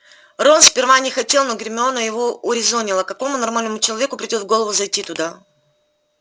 рон сперва не хотел но гермиона его урезонила какому нормальному человеку придёт в голову зайти туда